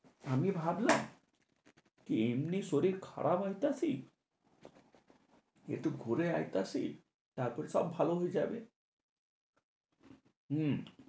আমি ভাবলাম, কি এমনি শরীর খারাপ হইতাছি? একটু ঘুরে আইতাছি, তারপরে সব ভালো হয়ে যাবে। হু